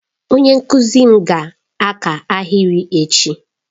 Onye nkuzi m ga-aka ahịrị echi.